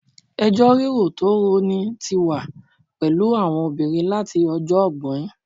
Ẹjọ́ rírò tó rọni tí wà pẹ̀lú àwọn obìnrin láti ọjọ́ ọgbọ́in